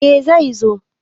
Eh zai zo.